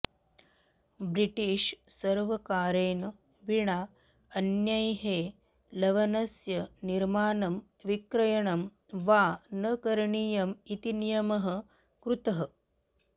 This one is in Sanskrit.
ब्रिटिष् सर्वकारेण विना अन्यैः लवणस्य निर्माणं विक्रयणं वा न करणीयम् इति नियमः कृतः